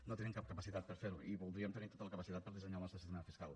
no tenim cap capacitat per fer ho i voldríem tenir tota la capacitat per dissenyar el nostre sistema fiscal